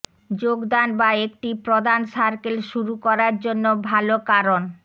যোগদান বা একটি প্রদান সার্কেল শুরু করার জন্য ভাল কারণ